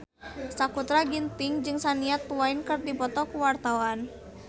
Sakutra Ginting jeung Shania Twain keur dipoto ku wartawan